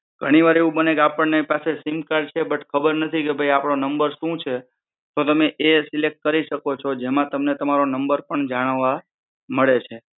ઘણી વાર એવું બને કે આપણ ને પાસે સિમ કાર્ડ છે બટ ખબર નથી કે ભઈ આપણો નંબર શું છે તો તમે એ સિલેક્ટ કરી છો જેમાં તમને તમારો નંબર જાણવા મળે છે